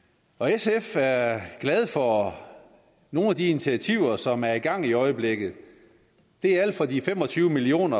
sf er glade for nogle af de initiativer som er i gang i øjeblikket det er alt fra de fem og tyve million